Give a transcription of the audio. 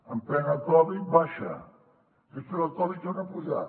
en plena covid baixa després de la covid torna a pujar